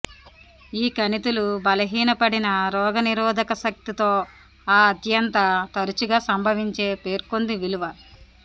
ఈ కణితులు బలహీనపడిన రోగనిరోధక శక్తి తో ఆ అత్యంత తరచుగా సంభవించే పేర్కొంది విలువ